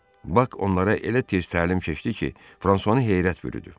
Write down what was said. Bak onlara elə tez təlim keçdi ki, Fransuanı heyrət bürüdü.